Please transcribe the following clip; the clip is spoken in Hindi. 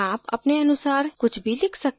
आप अपने अनुसार कुछ भी लिख सकते हैं